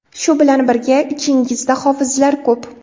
Shu bilan birga, ichingizda hofizlar ko‘p.